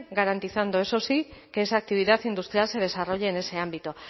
garantizando eso sí que esa actividad industrial se desarrolle en ese ámbito